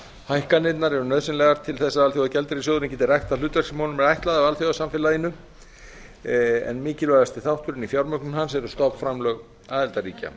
hækkanirnar eru nauðsynlegar til að alþjóðagjaldeyrissjóðurinn geti rækt það hlutverk sem honum er ætlað af alþjóðasamfélaginu en mikilvægasti þátturinn í fjármögnun hans eru stofnframlög aðildarríkja